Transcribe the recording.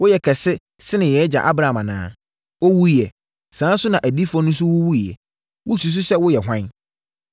Woyɛ kɛse sene yɛn agya Abraham anaa? Ɔwuiɛ; saa ara nso na adiyifoɔ no wuwuiɛ. Wosusu sɛ woyɛ hwan?”